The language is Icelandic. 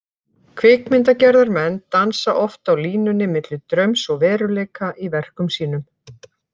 Kvikmyndagerðarmenn dansa oft á línunni milli draums og veruleika í verkum sínum.